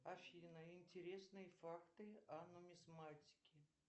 афина интересные факты о нумизматике